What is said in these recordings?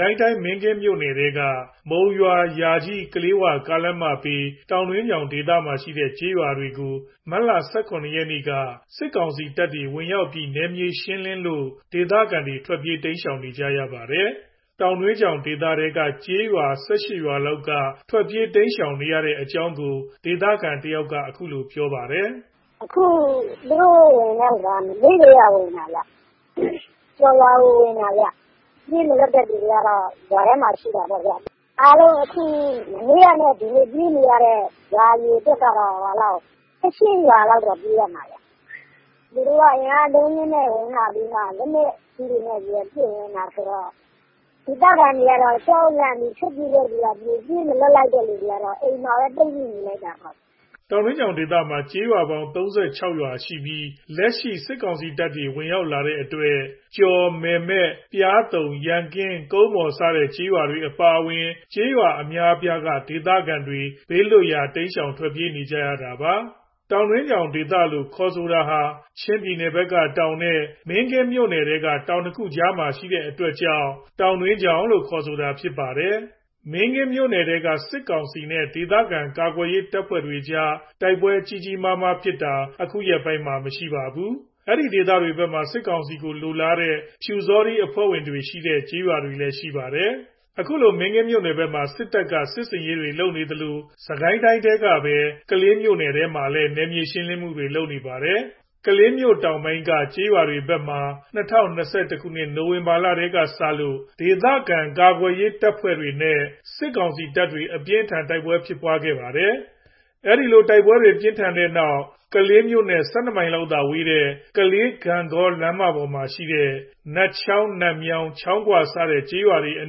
ကိုင်းတိုင်း မင်းကင်းမြို့နယ်ထဲက မုံရွာ - ယာကြီး - ကလေး၀ ကားလမ်းမဘေး တောင်တွင်းချောင်ဒေသမှာရှိတဲ့ ကျေးရွာတွေကို မတ်လ ၁၇ ရက်က စစ်ကောင်စီတပ်တွေ ဝင်ရောက်ပြီး နယ်မြေရှင်းလင်းလို့ ဒေသခံတွေ ထွက်ပြေးနေကြရပါတယ်။ တောင်တွင်းချောင်ဒေသထဲက ကျေးရွာ ၁၈ ရွာလောက်က ဒေသခံတွေ ထွက်ပြေး တိမ်းရှောင်နေကြတဲ့အကြောင်းကို ဒေသခံတယောက်က ခုလိုပြောပါတယ်။ “ကျော်ရွာကိုဝင်တာခင်ဗျ။ ပြေးမလွတ်တဲ့သူတွေကတော့ ရွာထဲမှာရှိတာပေါ့ဗျာ။ အားလုံးအခု မနေ့ကနဲ့ဒီနေ့ ပြေးနေရတဲ့ ရွာအရေအတွက်က ၁၈ ရွာလောက်ပြေးရမှာ သူတို့က အင်အားအလုံးအရင်းနဲ့ ဝင်လာပြီးမှ လက်နက်ကြီးတွေနဲ့ ပစ်ဝင်လာတာဆိုတော့ ဒေသခံတွေက ကြောက်လန့်ပြီး ထွက်ပြေးတဲ့သူတွေက ပြေး ပြေးမလွတ်တဲ့သူတွေက အိမ်မှာပဲ ပိတ်မိနေတာ။” တောင်တွင်းချောင်ဒေသမှာ ကျေးရွာပေါင်း ၃၆ ရွာရှိပြီး လက်ရှိ စစ်ကောင်စီတပ်တွေ ဝင်ရောက်လာတဲ့အတွက် ကျော် ၊ မယ်မဲ ၊ ပျားသုံး ၊ ရန်ကင်း၊ ကုန်းမော် စတဲ့ ကျေးရွာအပါအဝင် ကျေးရွာအများအပြားက ဒေသခံတွေ ဘေးလွတ်ရာ ထွက်ပြေနေကြတာပါ။ တောင်တွင်းချောင်ဒေသလို့ ခေါ်ဆိုတာဟာ ချင်းပြည်နယ်ဘက်ကတောင်နဲ့ မင်းကင်းမြို့နယ်ထဲက တောင်၂ ခုကြားထဲမှာရှိတဲ့အတွက် တောင်တွင်းချောင်လို့ခေါ်ဆိုတာဖြစ်ပါတယ်။ မင်းကင်းမြို့နယ်ထဲက စစ်ကောင်စီနဲ့ ဒေသခံကာကွယ်ရေးတပ်ဖွဲ့တွေကြား တိုက်ပွဲ ကြီးကြီးမားမားဖြစ်တာ အခုရက်ပိုင်း မရှိပါဘူး။ အဲဒီဒေသတွေဘက်မှာ စစ်ကောင်စီလိုလားတဲ့ ပျူစောထီးအဖွဲ့ဝင်များတဲ့ ရွာတွေလည်းရှိပါတယ်။ အခုလို မင်းကင်းမြို့နယ်ဘက်မှာ စစ်တပ်က စစ်ဆင်ရေးလုပ်နေသလို စစ်ကိုင်းတိုင်းထဲကပဲ ကလေးမြို့နယ်ထဲမှာလည်း နယ်မြေရှင်းလင်းမှုတွေ လုပ်နေပါတယ်။ ကလေးမြို့တောင်ပိုင်းက ကျေးရွာတွေဘက်မှာ ၂၀၂၁ ခုနှစ် နိုဝင်ဘာလထဲကစလို့ ဒေသခံကာကွယ်ရေးတပ်ဖွဲ့တွေနဲ့ စစ်ကောင်စီတပ်တွေ အပြင်းအထန် တိုက်ပွဲဖြစ်ပွားခဲ့ပါတယ်။ အဲ့ဒီလို တိုက်ပွဲတွေ ပြင်းထန်ပြီးတဲ့နောက် ကလေးမြို့နဲ့ ၁၂ မိုင်လောက်သာဝေးတဲ့ ကလေး - ဂန့်ဂေါ ကားလမ်းမပေါ်မှာရှိတဲ့ နတ်ချောင်း - နတ်မြောင်း - ချောင်းဂွ စတဲ့ ကျေးရွာတွေအ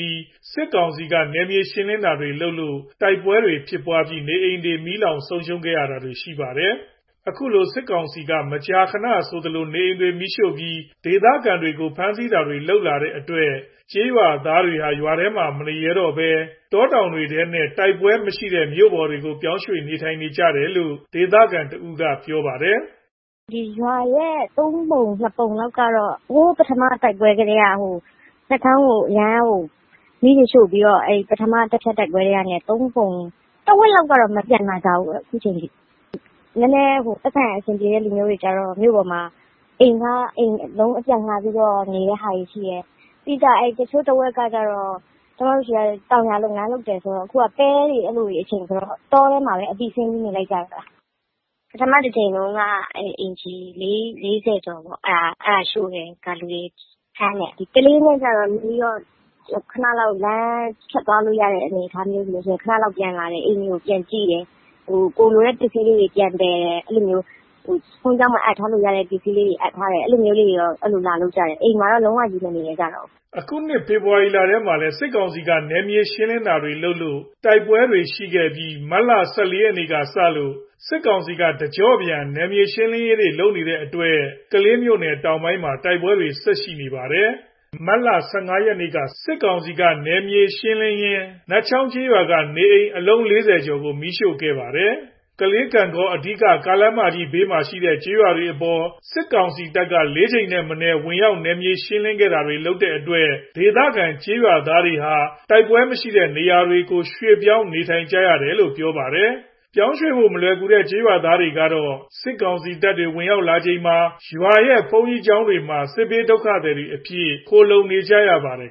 နီး စစ်ကောင်စီက နယ်မြေရှင်းလင်းတာတွေလုပ်လို့ တိုက်ပွဲတွေဖြစ်ပွားခဲ့ပြီး နေအိမ်တွေ မီးလောင်ဆုံးရှုံးခဲ့တာတွေရှိပါတယ်။ အခုလို စစ်ကောင်စီက မကြာခဏ ဆိုသလို နေအိမ်တွေမီးရှို့ပြီး ဒေသခံတွေကို ဖမ်းဆီးတာတွေ လုပ်လာတဲ့အတွက် ကျေးရွာသားတွေဟာ ရွာတွေထဲ မနေရကြတော့ဘဲ တောတောင်တွေထဲနဲ့ တိုက်ပွဲတွေမရှိတဲ့ မြို့ပေါ်ကို ပြောင်းရွှေ့နေထိုင်နေကြရတယ်လို့ ဒေသခံတဦးက ပြောပါတယ်။ “ရွာရဲ့ ၃ ပုံ ၂ ပုံလောက်ကတော့ နတ်ချောင်းကို အရမ်းမီးတွေ့ရှို့ပြီးတော့ ပထမ တဖြတ်တိုက်ပွဲကတည်းက တဝက်လောက်ကတော့ မပြန်လာကြဘူးအခုချိန်ထိ နည်းနည်းပိုက်ဆံရှိတဲ့သူတွေက မြို့ပေါ်မှာ အိမ်အလုံး အပြတ်ငှားပြီးနေတာရှိတယ်။ တချို့တဝက်က ကျွန်မတို့ဆီက တောင်ယာလုပ်ငန်းလုပ်တယ်ဆိုတော့ အခုက ပဲစိုက်တဲ့အချိန်ဆိုတော့ တောထဲမှာပဲ အပြီးဆင်းနေလိုက်ကြတယ်။ ပထမ တကြိမ်တုန်းက အိမ်ခြေ ၄၀ ကျော်ရှို့တယ်။ လူတွေဖမ်းတယ်။ ကလေးနဲ့နီးတော့ လမ်းဖြတ်သွားလို့ရတဲ့ အနေအထားမျိုးဆိုရင် ခဏလောက် ပြန်လာတယ်။ အိမ်တွေကိုပြန်ကြည့်တယ်။ ကိုယ်လိုတဲ့ပစ္စည်းလေးတွေကို ပြန်သယ်တယ်။ ဘုန်းကြီးကျောင်းမှာ အပ်ထားလို့ရတဲ့ ပစ္စည်းလေးတွေကို အပ်ထားတယ်။ အဲ့လိုမျိုးလေးတွေတော့ လာလုပ်ကြတယ်။ အိမ်မှာတော့ လုံး၀ မနေရဲကြတော့ဘူး။” အခုနှစ် ဖေဖော်ဝါရီလထဲမှာလည်း စစ်ကောင်စီက နယ်မြေရှင်းလင်းတာတွေ လုပ်လို့ တိုက်ပွဲတွေရှိခဲ့ပြီး မတ်လ ၁၄ ရက်ကစလို့ စစ်ကောင်စီက တကျော့ပြန် နယ်မြေရှင်းလင်းရေးတွေလုပ်နေတဲ့အတွက် ကလေးမြို့တောင်ပိုင်းမှာ တိုက်ပွဲတွေ ဆက်ရှိနေပါတယ်။ မတ်လ ၁၅ ရက်က စစ်ကောင်စီက နယ်မြေရှင်းလင်းရင်း နတ်ချောင်းကျေးရွာက နေအိမ် အလုံး ၄၀ ကျော်ကို မီးရှို့ခံခဲ့ရပါသေးတယ်။ ကလေး - ဂန့်ဂေါ အဓိက ကားလမ်းမကြီးဘေးမှာရှိတဲ့ ကျေးရွာတွေအပေါ် စစ်ကောင်စီတပ်က ၄ ကြိမ်ထက် မနည်း ဝင်ရောက်နယ်မြေရှင်းလင်းတာတွေလုပ်ခဲ့တဲ့အတွက် ဒေသခံရွာသားတွေဟာ တိုက်ပွဲမရှိတဲ့ နေရာတွေဆီကို ရွှေ့ပြောင်းနေထိုင်နေကြတာလို့ပြောပါတယ်။ ပြောင်းရွှေ့ဖို့ မလွယ်ကူတဲ့ ကျေးရွာသားတွေမှာတော့ စစ်ကောင်စီတပ်တွေ ဝင်ရောက်လာချိန်မှာ ရွာရဲ့ဘုန်းကြီးတွေမှာ စစ်ဘေးဒုက္ခသည်အဖြစ် ခိုလှုံနေကြရပါတယ်